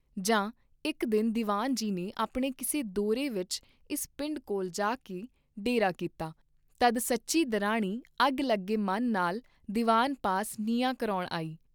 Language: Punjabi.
ਜਾਂ ਇਕ ਦਿਨ ਦੀਵਾਨ ਜੀ ਨੇ ਆਪਣੇ ਕਿਸੇ ਦੌਰੇ ਵਿਚ ਇਸ ਪਿੰਡ ਕੋਲ ਜਾਕੇ ਡੇਰਾ ਕੀਤਾ ਤਦ ਸੱਚੀ ਦਿਰਾਣੀ ਅੱਗ ਲੱਗੇ ਮਨ ਨਾਲ ਦੀਵਾਨ ਪਾਸ ਨਿਆਂ ਕਰਾਉਣ ਆਈ।